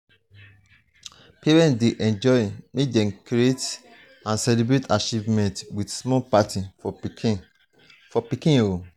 parents dey enjoy make dem celebrate achievements with small parties for pikin. for pikin.